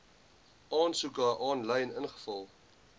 aansoeke aanlyn invul